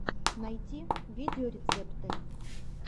найти видеорецепты